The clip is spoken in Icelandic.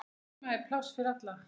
Heima er pláss fyrir alla.